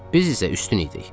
Biz isə üstün idik.